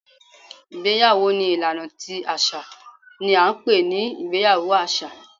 Ìgbéyàwó ni ìlaná tí aṣa ní a n pẹ ní ìgbéyàwó aṣa